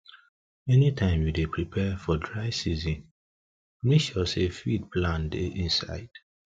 anytime you dey prepare for dry season make sure say feed plan dey inside